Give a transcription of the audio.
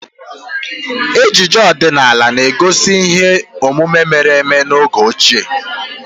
Ejije ọdinala na-egosi ihe omume mere eme n'oge ochie